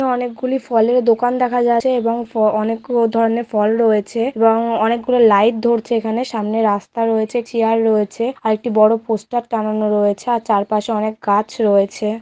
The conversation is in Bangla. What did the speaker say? অনেকগুলি ফলের দোকান দেখা যাচ্ছে এবং ফ--অনেক ধরনের ফল রয়েছে এবং অনেকগুলো লাইট ধরছে এখানে সামনে রাস্তা রয়েছে চেয়ার রয়েছে আরেকটি বড় পোস্টার টানানো রয়েছে আর চারপাশে অনেক গাছ রয়েছে।